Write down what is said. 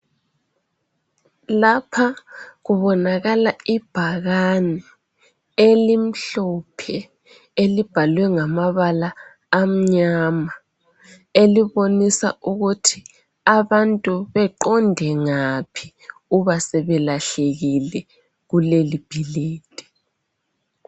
Lapha kubonakala ibhakani, elimhlophe, elibhalwe ngamabala amnyama. Elibonisa ukuthi abantu beqonde ngaphi ubasebelahlekile kulelibhilidi.